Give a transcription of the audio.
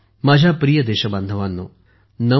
माझ्या प्रिय देशबांधवांनो